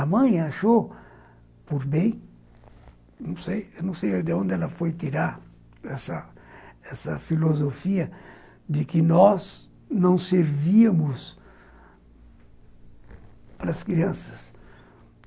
A mãe achou, por bem, não sei não sei de onde ela foi tirar essa essa filosofia de que nós não servíamos para as crianças.